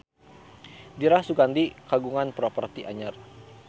Dira Sugandi kagungan properti anyar